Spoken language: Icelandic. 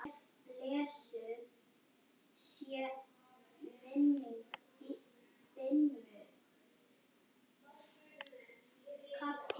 Pálmey, hvað er á innkaupalistanum mínum?